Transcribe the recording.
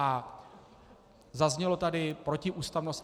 A zaznělo tady - protiústavnost atd.